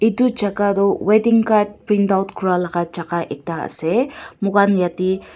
edu jaka toh weeding card print out kuralaka jaka ektaase moikan yate.